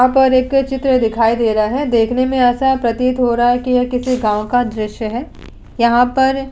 यहाँ पर एक चित्र दिखाई दे रहा है। देखने से ऐसा प्रतीत हो रहा है कि यह किसी गाँव का दृश्य है। यहाँ पर --